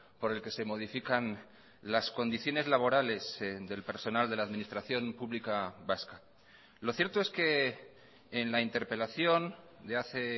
por el que se modifican las condiciones laborales del personal de la administración pública vasca lo cierto es que en la interpelación de hace